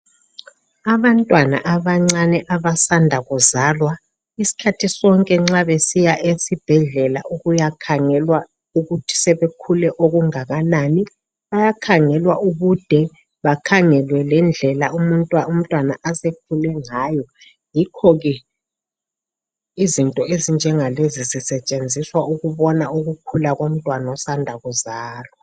Abantwana abancane abasanda kuzalwa isikhathi sonke nxa besiya esibhedlela ukuyakhangelwa ukuthi sebekhule okungakanani bayakhangelwa ubude bakhangelwe lendlela umntwana asekhule ngayo yikho ke izinto ezinjengalezi zisetshenziswa ukubona ukukhula komntwana osanda kuzalwa.